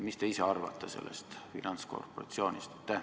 Mis te ise arvate sellest finantskorporatsioonist?